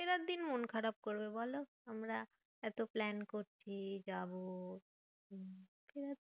ফেরার দিন মন খারাপ করবে বলো? আমরা এত plan করছি যাবো